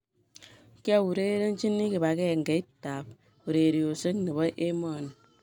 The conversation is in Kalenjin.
kiaurerenchini kibagengeit ab urerioshek nebo emoni